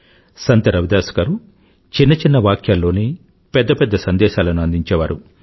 సంత్ రవిదాస్ గారు చిన్న చిన్న వాక్యాల్లోనే పెద్ద పెద్ద సందేశాలను అందించేవారు